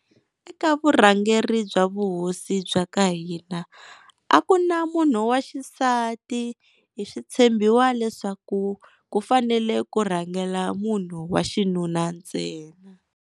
Eka vurhangeri bya vuhosi bya ka hina, a ku na munhu wa xisati hi swi tshembiwa leswaku ku fanele ku rhangela munhu wa xinuna ntsena.